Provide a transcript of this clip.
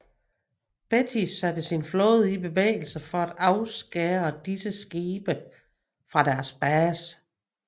Beatty satte sin flåde i bevægelse for at afskære disse skibe fra deres base